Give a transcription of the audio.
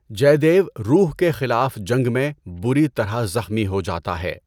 جے دیو روح کے خلاف جنگ میں بری طرح زخمی ہو جاتا ہے۔